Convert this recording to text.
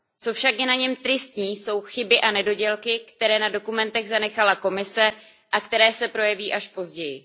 Co však je na něm tristní, jsou chyby a nedodělky, které na dokumentech zanechala Komise a které se projeví až později.